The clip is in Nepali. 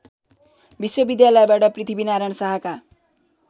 विश्वविद्यालयबाट पृथ्वीनारायण शाहका